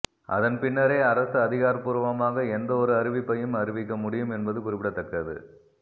அதன்பின்னரே அரசு அதிகாரபூர்வமாக எந்த ஒரு அறிவிப்பையும் அறிவிக்க முடியும் என்பது குறிப்பிடத்தக்கது